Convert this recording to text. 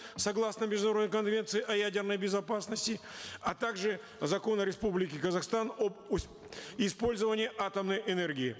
согласно международной конвенции о ядерной безопасности а также закона республики казахстан об использовании атомной энергии